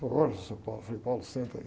Falou olha, seu, foi senta aí.